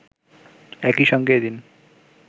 একইসঙ্গে এদিন